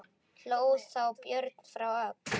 Hló þá Björn frá Öxl.